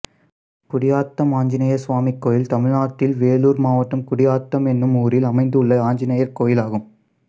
குடியாத்தம் ஆஞ்சநேயசுவாமி கோயில் தமிழ்நாட்டில் வேலூர் மாவட்டம் குடியாத்தம் என்னும் ஊரில் அமைந்துள்ள ஆஞ்சநேயர் கோயிலாகும்